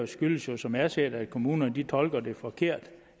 skyldes jo som jeg ser det at kommunerne tolker det forkert